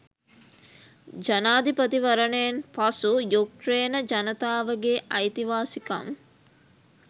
ජනාධිපතිවරණයෙන් පසු යුක්රේන ජනතාවගේ අයිතිවාසිකම්